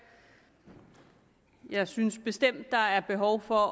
jeg synes bestemt at der er behov for at